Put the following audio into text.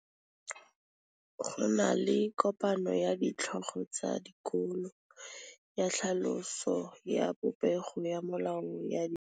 Go na le kopanô ya ditlhogo tsa dikolo ya tlhaloso ya popêgô ya melao ya dikolo.